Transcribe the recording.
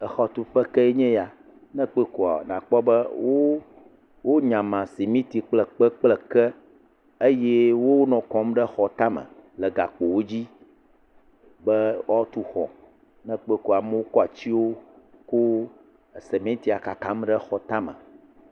Exɔtuƒe ke nye ya, ne kpɔe kɔa nakpɔ be wonya cimiti kple epke kple eke eye wonɔ kɔ ɖe xɔ tame le gakpowo dzi be woatu xɔ, ne kpɔe kɔ amewo kɔ atiwo he cementia kakam ɖe xɔ tame.